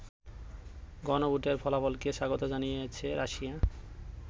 গণভোটের ফলাফলকে স্বাগত জানিয়েছে রাশিয়া।